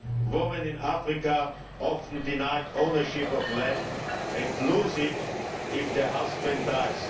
Women in Africa are often denied ownership of land and lose it if their husband dies.